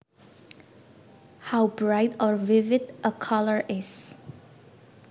How bright or vivid a color is